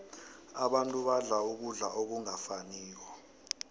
abantu badla ukudla okungafaniko